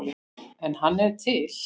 En hann er til.